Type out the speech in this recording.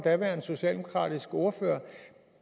daværende socialdemokratiske ordfører